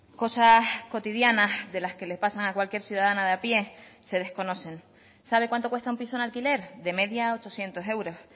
cosas cotidianas de las que le pasan a cualquier ciudadana de a pie se desconocen sabe cuánto cuesta un piso en alquiler de media ochocientos euros